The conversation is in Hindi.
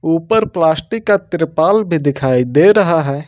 ऊपर प्लास्टिक का त्रिपाल भी दिखाई दे रहा है।